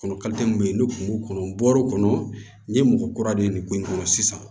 Kɔnɔ min bɛ yen ni kun b'o kɔnɔ bɔr'o kɔnɔ n ye mɔgɔ kura de ye nin ko in kɔnɔ sisan